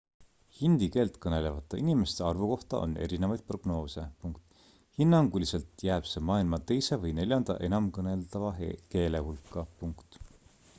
hindi keelt kõnelevate inimeste arvu kohta on erinevaid prognoose hinnanguliselt jääb see maailma teise ja neljanda enamkõneldava keele hulka